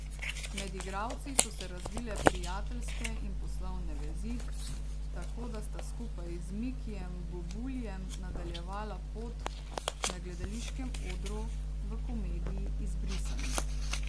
Med igralci so se razvile prijateljske in poslovne vezi, tako da sta skupaj z Mikijem Bubuljem nadaljevala pot na gledališkem odru v komediji Izbrisani.